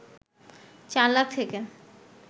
চার লাখ থেকে